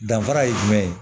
Danfara ye jumɛn ye